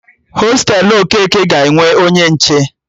Hostelu Okeke ga-enwe onye nche